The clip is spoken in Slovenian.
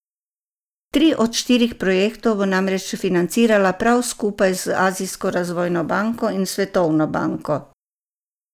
Tri od štirih projektov bo namreč financirala prav skupaj z Azijsko razvojno banko in Svetovno banko.